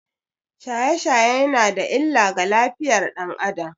Shaye-shaye yana da illa ga lafiyar ɗan Adam